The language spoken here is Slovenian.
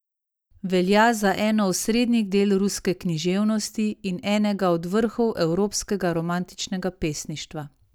Velja za eno osrednjih del ruske književnosti in enega od vrhov evropskega romantičnega pesništva.